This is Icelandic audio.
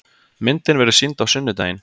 Myndin verður sýnd á sunnudaginn.